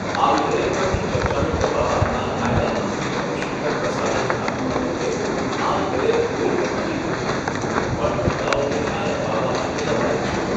આ વિધેયક પરની ચર્ચાનો જવાબ આપતાં કાયદામંત્રી રવિશંકર પ્રસાદે જણાવ્યુંં હતું કે આ વિધેયક કોઈ ધર્મની વિરુદ્ધ નથી પણ મહિલાઓને ન્યાય અપાવવા માટે લવાયું છે.